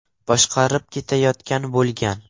boshqarib ketayotgan bo‘lgan.